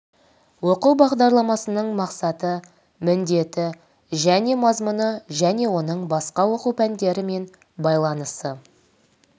оқу бағдарламасының мақсаты міндеті және мазмұны және оның басқа оқу пәндерімен байланысы